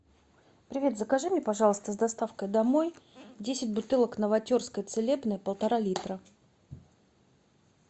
привет закажи мне пожалуйста с доставкой домой десять бутылок новотерской целебной полтора литра